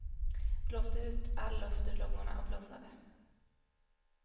Blåste ut all luft ur lungorna och blundade.